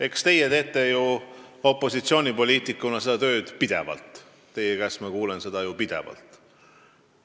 Eks teie teete opositsioonipoliitikuna seda tööd ju pidevalt – teie käest ma kuulen seda pidevalt.